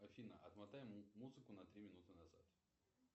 афина отмотай музыку на три минуты назад